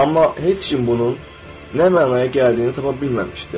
Amma heç kim bunun nə mənaya gəldiyini tapa bilməmişdi.